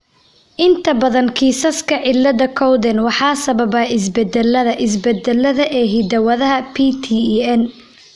Inta badan kiisaska cilada Cowden waxaa sababa isbeddelada (isbeddellada) ee hidda-wadaha PTEN.